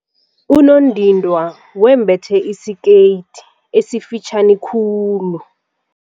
Unondindwa wembethe isikete esifitjhani khulu.